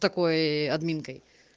что такое админкой